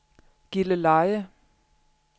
Gilleleje